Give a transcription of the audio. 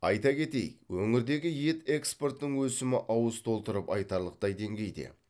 айта кетейік өңірдегі ет экспортының өсімі ауыз толтырып айтарлықтай деңгейде